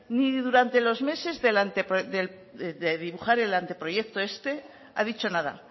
ni durante los meses de dibujar el anteproyecto este ha dicho nada